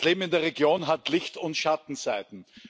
Das Leben in der Region hat Licht und Schattenseiten.